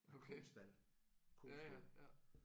Okay. Ja ja ja